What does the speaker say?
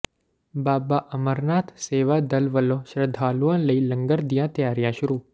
ਬਾਬਾ ਅਮਰਨਾਥ ਸੇਵਾ ਦਲ ਵਲੋਂ ਸ਼ਰਧਾਲੂਆਂ ਲਈ ਲੰਗਰ ਦੀਆਂ ਤਿਆਰੀਆਂ ਸ਼ੁਰੂ